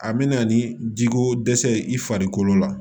A mɛna ni jiko dɛsɛ ye i farikolo la